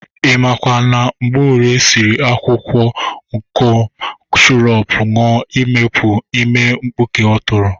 Ị makwa na Mgborie siri akwụkwọ akọm shọrup ṅụa imepu ime mpkuke ọ tụrụ?